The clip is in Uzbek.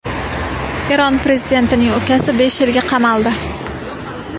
Eron prezidentining ukasi besh yilga qamaldi.